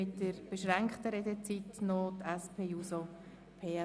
Mit einer beschränkten Redezeit wird sich die SP-JUSO-PSA-Fraktion äussern.